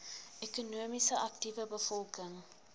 ekonomies aktiewe bevolking